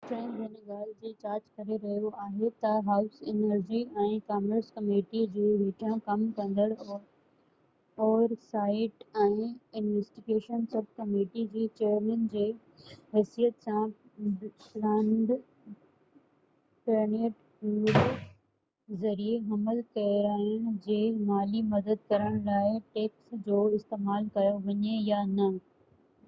Stearns هن ڳالهہ جي جاچ ڪري رهيو آهي تہ هائوس انرجي ۽ ڪامرس ڪميٽي جي هيٺيان ڪم ڪندڙ oversight ۽ investigations sub committee جي چئيرمن جي حيثيت سان پلاننڊ پيرينٽ هوڊ ذريعي حمل ڪيرائڻ جي مالي مدد ڪرڻ لاءِ ٽيڪس جو استعمال ڪيو وڃي يا نہ